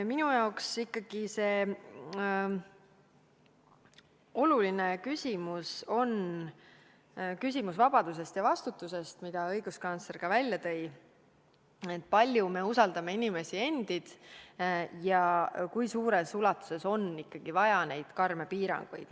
Minu jaoks on oluline küsimus vabadusest ja vastutusest, mille ka õiguskantsler välja tõi – see, kui palju me usaldame inimesi endid ja kui suures ulatuses on neid karme piiranguid vaja.